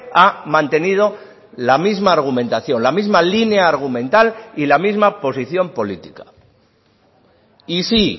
ha mantenido la misma argumentación la misma línea argumental y la misma posición política y sí